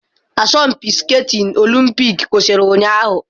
Asọmpi skatini olimpik kwụsịrị ụnyahụ.